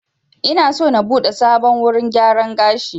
Ina so na buɗe sabon wurin gyaran gashi